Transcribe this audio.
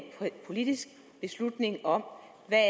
politisk beslutning om hvad